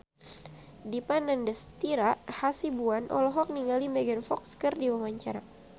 Dipa Nandastyra Hasibuan olohok ningali Megan Fox keur diwawancara